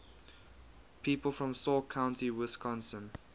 people from sauk county wisconsin